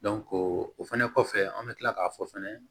o fɛnɛ kɔfɛ an bɛ kila k'a fɔ fɛnɛ